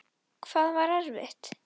Þú verður áfram til.